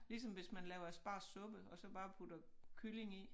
Ligesom hvis man laver aspargessuppe og så bare putter kylling i